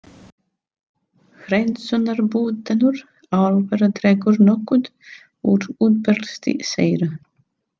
Hreinsunarbúnaður álvera dregur nokkuð úr útblæstri þeirra.